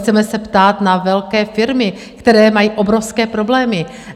Chceme se ptát na velké firmy, které mají obrovské problémy.